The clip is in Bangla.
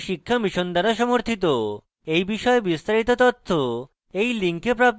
এই বিষয়ে বিস্তারিত তথ্য এই link প্রাপ্তিসাধ্য